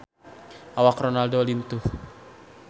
Awak Ronaldo lintuh